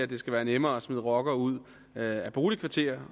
det skal være nemmere at smide rockere ud af boligkvarterer